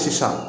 Sisan